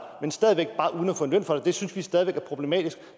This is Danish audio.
men stadig væk bare uden at få løn for det det synes vi stadig væk er problematisk